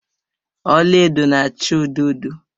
Ọla edo na acha odo odo